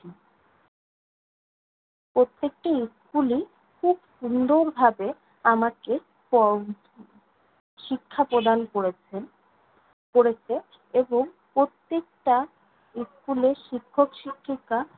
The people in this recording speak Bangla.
প্রত্যেকটি school ই খুব সুন্দরভাবে আমাকে প~ উম শিক্ষাপ্রদান করেছেন করেছে। এবং, প্রত্যেকটা school এ শিক্ষক-শিক্ষিকা